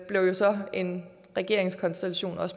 jo så en regeringskonstellation